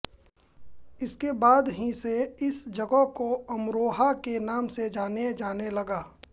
इसके बाद ही से इस जगह को अमरोहा के नाम से जाना जाने लगा